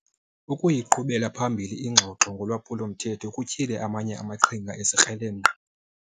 Ukuyiqhubela phambili ingxoxo ngolwaphulo-mthetho kutyhile amanye amaqhinga ezikrelemnqa.